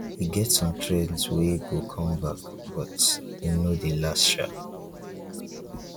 e get some trends wey go come back but e no dey last sha.